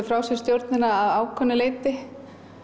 frá sér stjórnina að ákveðnu leyti